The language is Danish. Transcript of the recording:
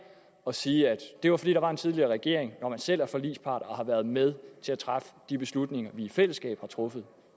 at sige at det var fordi der var en tidligere regering når man selv er forligspart og har været med til at træffe de beslutninger vi altså i fællesskab har truffet